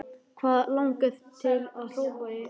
Hana langar til að hrópa í angist sinni.